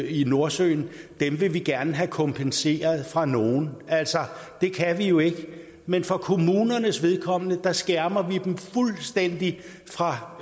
i nordsøen og dem vil vi gerne have kompenseret fra nogen altså det kan vi jo ikke men for kommunernes vedkommende skærmer vi dem fuldstændig fra